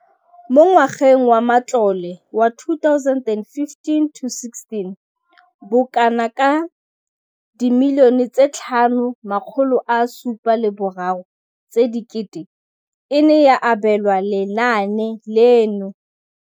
Mo ngwageng wa matlole wa 2015 to 16, bokanaka 5 703 bilione e ne ya abelwa lenaane leno.